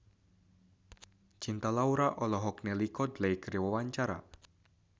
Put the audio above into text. Cinta Laura olohok ningali Coldplay keur diwawancara